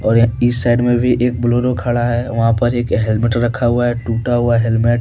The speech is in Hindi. और इस साइड में भी एक बोलेरो खड़ा है वहां पर एक हेल्मेट रखा हुआ है टूटा हुआ हेलमेट --